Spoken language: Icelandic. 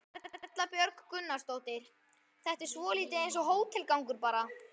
Erla Björg Gunnarsdóttir: Þetta er svolítið eins og hótelgangur bara?